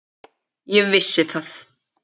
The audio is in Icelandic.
Ég vissi það.